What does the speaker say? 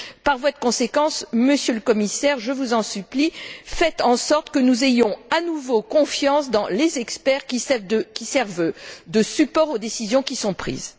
Par voie de conséquence, Monsieur le Commissaire, je vous en supplie, faites en sorte que nous ayons à nouveau confiance dans les experts qui servent de support aux décisions qui sont prises.